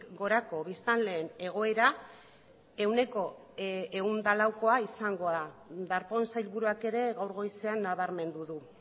gorako biztanleen egoera ehuneko ehun eta laukoa izango da darpón sailburuak ere gaur goizean nabarmendu du